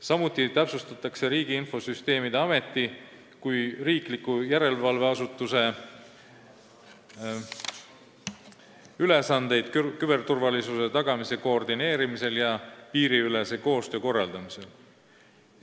Samuti täpsustatakse Riigi Infosüsteemi Ameti kui riikliku järelevalveasutuse ülesandeid küberturvalisuse tagamise koordineerimisel ja piiriülese koostöö korraldamisel.